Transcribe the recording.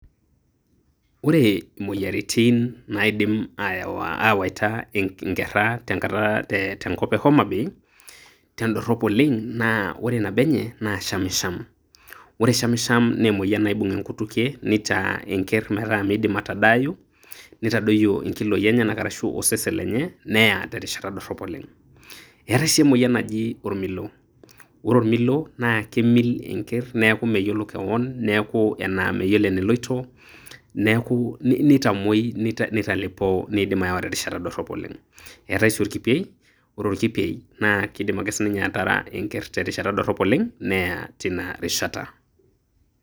Ore imoyiaritin naidimi aawaita inkera tenkop e homabay, tedorop oleng' naa nabo enye naa shamsham, ore shamsham naa emoyian naibung' enkutukie neitaa enker metaa meidim atadaayu, nitadoyio inkiloi enyana ashu osesen lenye neya terishata dorop oleng'. Eetai sii emoyian naji olmilo. Ore olmilo naa kimil enker neeku meyiolo kewon neeku enaa meyiolo eneloito neitamoi neitalepoo neidim aawa terishata dorop oleng'. Eetai sii olkipei, ore olkipei naa keidim ake sininye ataara enker terishata dorop oleng', neya teinarishat.